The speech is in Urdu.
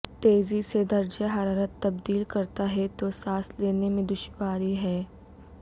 تیزی سے درجہ حرارت تبدیل کرتا ہے تو سانس لینے میں دشواری ہے